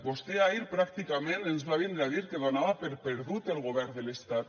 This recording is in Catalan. vostè ahir pràcticament ens va vindre a dir que donava per perdut el govern de l’estat